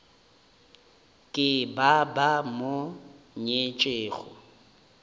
ke ba ba mo nyetšego